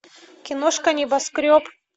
киношка небоскреб